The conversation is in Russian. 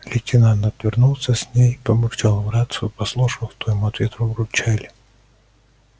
лейтенант отвернулся с ней побурчал в рацию послушал что ему в ответ побурчали